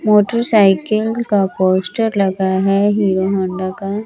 Motorcycle का poster लगा है हीरो होंडा का।